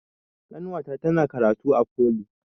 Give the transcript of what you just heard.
Ƙanwata tana karatu a foli